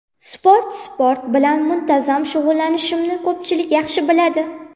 Sport Sport bilan muntazam shug‘ullanishimni ko‘pchilik yaxshi biladi.